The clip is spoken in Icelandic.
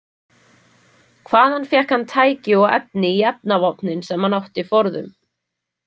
Hvaðan fékk hann tæki og efni í efnavopnin sem hann átti forðum?